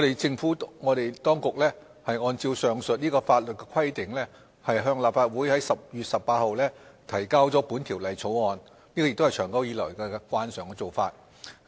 政府當局按照上述法律規定在10月18日向立法會提交本《條例草案》。這也是長久以來的慣常做法。